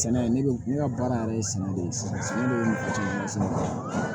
Sɛnɛ ne bɛ ne ka baara yɛrɛ ye sɛnɛ de ye sɛnɛ de ye nafa caman sɛnɛ